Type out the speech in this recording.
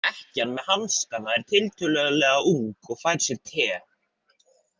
Ekkjan með hanskana er tiltölulega ung og fær sér te.